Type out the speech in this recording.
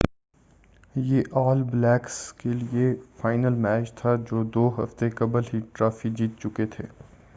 یہ All Blacks کے لئے فائنل میچ تھا جو دو ہفتے قبل ہی ٹرافی جیت چکے تھے